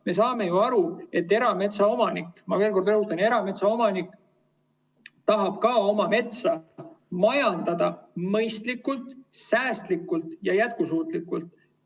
Me saame ju aru, et erametsaomanik – ma veel kord rõhutan – tahab ka oma metsa majandada mõistlikult, säästlikult ja jätkusuutlikult.